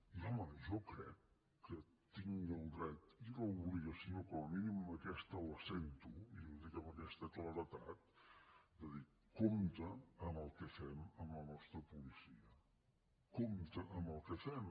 i home jo crec que tinc el dret i l’obligació com a mínim aquesta la sento i ho dic amb aquesta claredat de dir compte amb el que fem amb la nostra policia compte amb el que fem